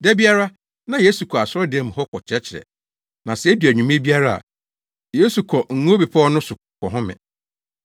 Da biara, na Yesu kɔ asɔredan mu hɔ kɔkyerɛkyerɛ, na sɛ edu anwummere biara a, Yesu kɔ Ngo Bepɔw no so kɔhome.